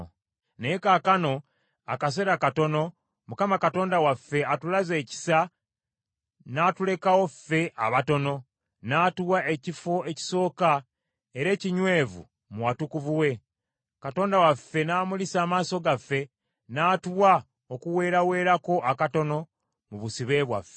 “Naye kaakano, akaseera katono, Mukama Katonda waffe atulaze ekisa n’atulekawo ffe abatono, n’atuwa ekifo ekisooka era ekinywevu mu watukuvu we, Katonda waffe n’amulisa amaaso gaffe, n’atuwa okuweeraweerako akatono mu busibe bwaffe.